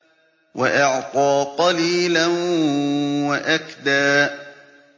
وَأَعْطَىٰ قَلِيلًا وَأَكْدَىٰ